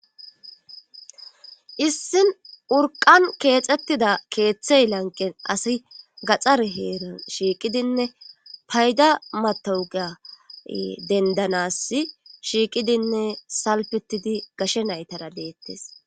Issin urqan keexettida keeththey lanqen asi gaxar heeran shiiqidinne payda matawuga dendanas shiiqidinne salpetidi gashe naytara deettes.